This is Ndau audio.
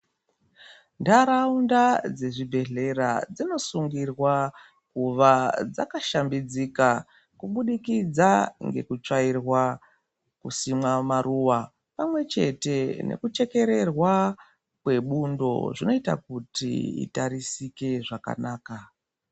Ntaraunda dzezvibhedhlera dzinosungirwa kuva dzakashambidzika kubudikidza ngekutsvairwa, kusimwa maruva, pamwechete nekuchekererwa kwebundo. Zvinoita kuti itarisike zvakanaka.